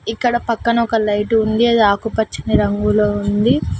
ఇక్కడ పక్కన ఒక లైట్ ఉంది అది ఆకుపచ్చని రంగులో ఉంది.